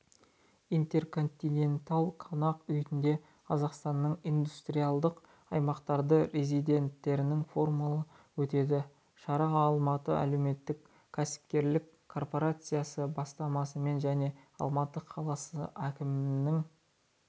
интерконтиненталь қонақ үйінде қазақстанның индустриалдық аймақтарының резиденттерінің форумы өтеді шара алматы әлеуметтік-кәсіпкерлік корпорациясы бастамасымен және алматы қаласы әкімдігінің